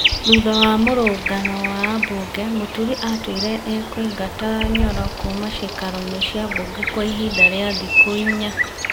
Thutha wa mũrũngano wa ambunge, Mũturi atuire ĩ kũingata Nyoro kuuma ciikaroinĩ ciambunge kwa ihinda rĩa thikũ inya.